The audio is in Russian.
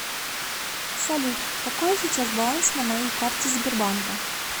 салют какой сейчас баланс на моей карте сбербанка